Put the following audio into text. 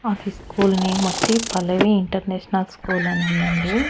అది school name వచ్చి Pallavi international school అనుందండి.